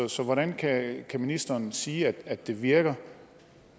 så hvordan kan ministeren sige at det virker